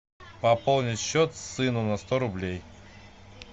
пополнить счет сыну на сто рублей